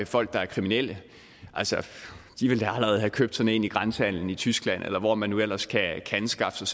folk der er kriminelle altså de vil da allerede have købt sådan en i grænsehandelen i tyskland eller hvor man nu ellers kan anskaffe sig